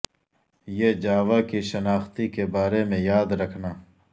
یہ جاوا کی شناختی کے بارے میں یاد رکھنا